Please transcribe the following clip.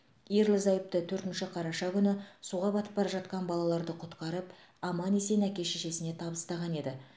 ерлі зайыпты төртінші қараша күні суға батып бара жатқан балаларды құтқарып аман есен әке шешесіне табыстаған еді